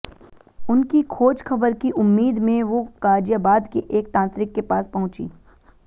उनकी खोजखबर की उम्मीद में वो गाजियाबाद के एक तांत्रिक के पास पहुंची